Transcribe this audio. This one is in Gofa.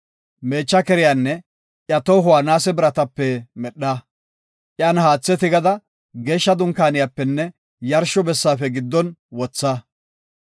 “Meecha keriyanne iya tohuwa naase biratape medha. Iyan haathe tigada Geeshsha Dunkaaniyapenne yarsho bessaafe giddon wotha.